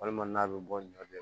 Walima n'a bɛ bɔ ɲɔ bɛ